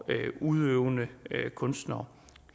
udøvende kunstnere